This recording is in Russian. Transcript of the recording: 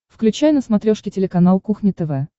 включай на смотрешке телеканал кухня тв